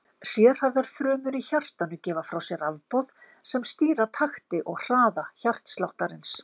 Sérhæfðar frumur í hjartanu gefa frá sér rafboð sem stýra takti og hraða hjartasláttarins.